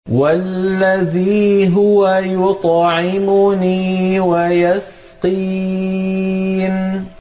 وَالَّذِي هُوَ يُطْعِمُنِي وَيَسْقِينِ